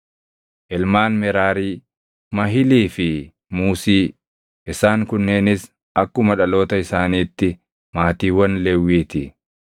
Ilmaan Meraarii: Mahilii fi Muusii. Isaan kunneenis akkuma dhaloota isaaniitti maatiiwwan Lewwii ti.